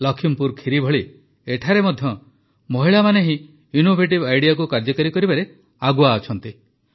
ଲଖିମପୁର ଖିରି ଭଳି ଏଠାରେ ମଧ୍ୟ ମହିଳାମାନେ ହିଁ ଇନ୍ନୋଭେଟିଭ୍ ଆଇଡିଆକୁ କାର୍ଯ୍ୟକାରୀ କରିବାରେ ଆଗୁଆ ଅଛନ୍ତି